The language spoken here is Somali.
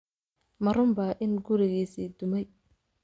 Ma runbaa in gurigiisii ​​dumay?